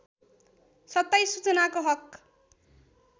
२७ सूचनाको हक